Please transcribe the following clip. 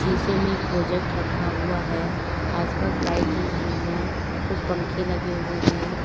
शीशे में एक प्रोजेक्ट रखा हुआ है आसपास लाइट जल रही है कुछ पंख लगे हुए हैं।